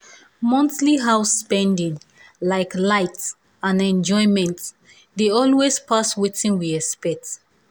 monthly house spending like light and enjoyment dey always pass wetin we expect.